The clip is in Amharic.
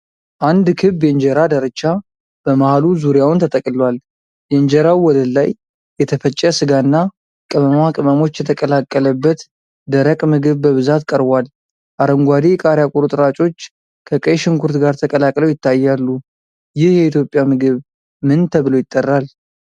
አንድ ክብ የእንጀራ ዳርቻ በመሃሉ ዙሪያውን ተጠቅልሏል። የእንጀራው ወለል ላይ የተፈጨ ሥጋ እና ቅመማ ቅመሞች የተቀላቀለበት ደረቅ ምግብ በብዛት ቀርቧል። አረንጓዴ የቃሪያ ቁርጥራጮች ከቀይ ሽንኩርት ጋር ተቀላቅለው ይታያሉ። ይህ የኢትዮጵያ ምግብ ምን ተብሎ ይጠራል?